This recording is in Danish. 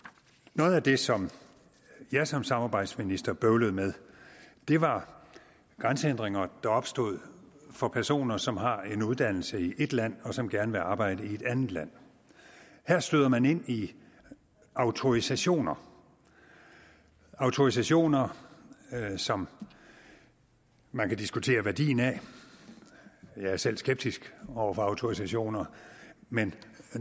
noget af det som jeg som samarbejdsminister bøvlede med var grænsehindringer der opstod for personer som har en uddannelse i ét land og som gerne vil arbejde i et andet land her støder man ind i autorisationer autorisationer som man kan diskutere værdien af jeg er selv skeptisk over for autorisationer men